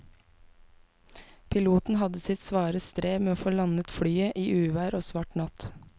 Piloten hadde sitt svare strev med å få landet flyet i uvær og svart natt.